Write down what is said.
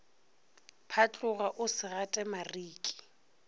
phatloga o se gate mariki